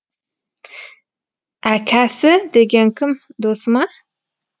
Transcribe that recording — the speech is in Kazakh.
әкәсі деген кім досы ма